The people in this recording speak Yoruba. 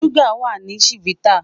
Suga wa ni chivita